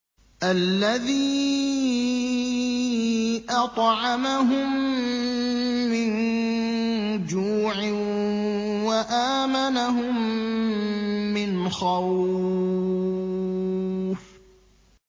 الَّذِي أَطْعَمَهُم مِّن جُوعٍ وَآمَنَهُم مِّنْ خَوْفٍ